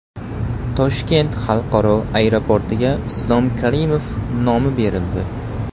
Toshkent xalqaro aeroportiga Islom Karimov nomi berildi .